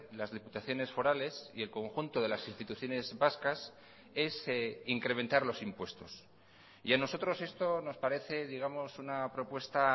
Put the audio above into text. las diputaciones forales y el conjunto de las instituciones vascas es incrementar los impuestos y a nosotros esto nos parece digamos una propuesta